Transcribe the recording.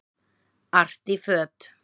Artí föt